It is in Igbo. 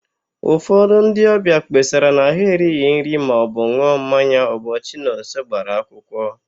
Ụfọdụ ndị ọbịa kpesara na ha erighi nri maọbụ n̄ụọ mmanya ụbọchị Nonso gbara akwụkwọ.